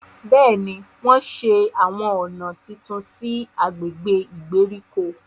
Béèni, wọn ṣe awọn ọna títún sí i agbègbè ìgbèríko